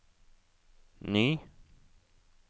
ny